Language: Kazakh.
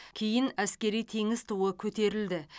кейін әскери теңіз туы көтерілді